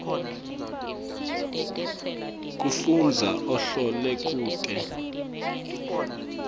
kufundza ahlole kute